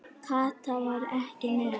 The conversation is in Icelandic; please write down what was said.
Kata var ekki með.